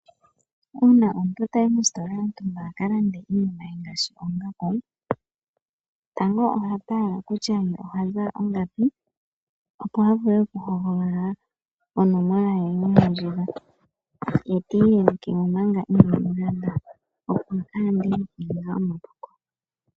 Uuna omuntu tayi mositola yontumba akalande iinima ye ngaashi oongaku tango ohatala kutya ohazala ongapi opo avule okuhogolola onomola ye yomondjila ye eti yelekemo manga ina landa opo a yande okuninga omapuko.